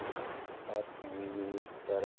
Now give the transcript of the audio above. attack movie तर